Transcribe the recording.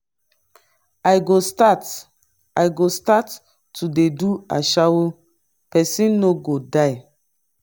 i go start i go start to dey do ashawo person no go die